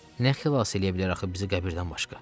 Nə xilas eləyə bilər axı bizi qəbirdən başqa?